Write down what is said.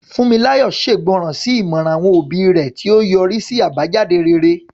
Funmilayo ṣègbọràn sí ìmọ̀ràn àwọn òbí rẹ̀, tí ó yọrí sí àbájáde rere.